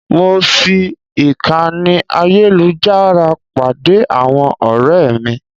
Mo fi ìkànnì ayélujára pàdé àwọn ọ̀rẹ́ mi.